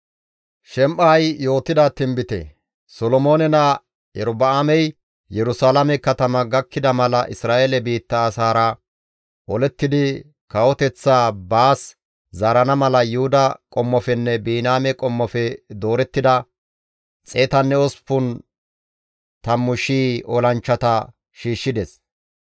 Solomoone naa Erobi7aamey Yerusalaame katama gakkida mala Isra7eele biitta asaara olettidi kawoteththaa baas zaarana mala Yuhuda qommofenne Biniyaame qommofe doorettida 180,000 olanchchata shiishshides.